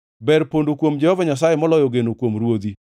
Ber pondo kuom Jehova Nyasaye moloyo geno kuom ruodhi.